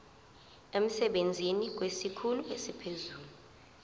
emsebenzini kwesikhulu esiphezulu